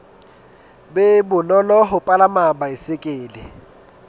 be bonolo ho palama baesekele